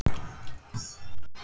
hlaupið á sig?